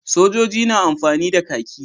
Sojoji na amfani da kahki.